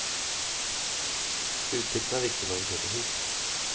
Utsikten er viktig når vi kjøper hus.